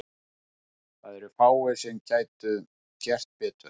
Það eru fáir sem gætu gert betur.